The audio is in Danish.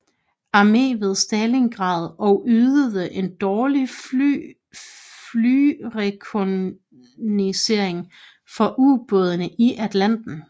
Armé ved Stalingrad og ydede en dårlig flyrekognoscering for ubådene i Atlanten